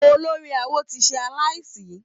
Olórí awo ti ṣe aláìsí.